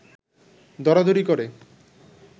দরাদরি করে